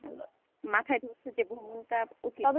মাথায় ঢুকতেছে টা উচিত,